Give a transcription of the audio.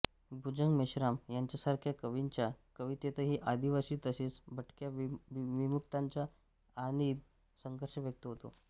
भुजंग मेश्राम यांच्यासारख्या कवींच्या कवितेतही आदिवासी तसेच भटक्या विमुक्तांचा आदिम संघर्ष व्यक्त होतो